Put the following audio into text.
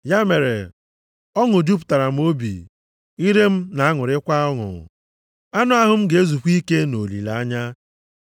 Ya mere, ọṅụ jupụtara m obi, ire m na-aṅụrịkwa ọṅụ; anụ ahụ m ga-ezukwa ike nʼolileanya,